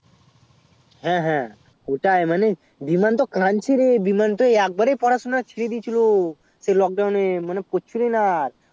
হ্যাঁ হ্যাঁ ওটাই বিমান তো কাদছে রে বিমান তো এক বারেই পড়াশুনা ছেড়ে দিয়েছিলো সেই lockdown এ মানে পড়ছিলোই না আর